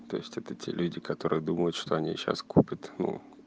то есть это те люди которые думают что они сейчас купят ну